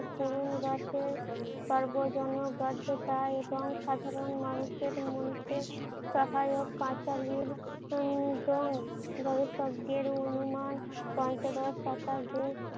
করুন রোষে সর্বজন গদ্ধতা এবং সাধারণ মানুষের মনকে সহায়ক পাঁচালির উম জং গড়ের শব্দের অনুমান পঞ্চদশ শতাব্দীর